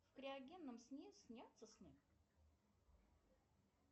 в криогенном сне снятся сны